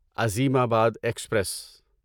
عظیم آباد ایکسپریس